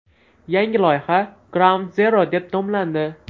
Yangi loyiha Groundzero deb nomlandi.